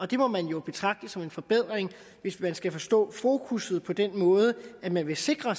det må man jo betragte som en forbedring hvis vi skal forstå fokuset på den måde at man vil sikre